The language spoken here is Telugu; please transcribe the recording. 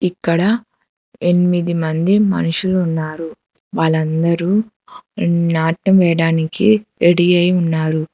ఇక్కడ ఎనిమిది మంది మనుషులు ఉన్నారు వాళ్ళందరూ నాటు వేయడానికి రెడీ అయి ఉన్నారు.